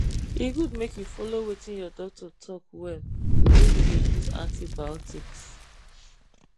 e good make you follow wetin your doctor talk well when you dey use antibiotics